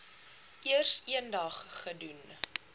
eers eendag gedoen